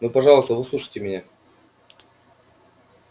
ну пожалуйста выслушайте меня